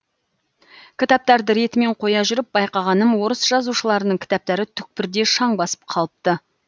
кітаптарды ретімен қоя жүріп байқағаным орыс жазушыларының кітаптары түкпірде шаң басып қалыпты